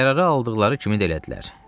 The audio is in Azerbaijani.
Qərarı aldıqları kimi də elədilər.